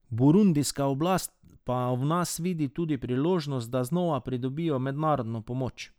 Burundijska oblast pa v nas vidi tudi priložnost, da znova pridobijo mednarodno pomoč.